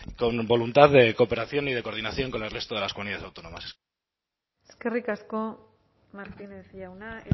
con voluntad de cooperación y de coordinación con el resto de las comunidades autónomas eskerrik asko martínez jauna